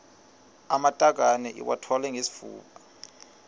amatakane iwathwale ngesifuba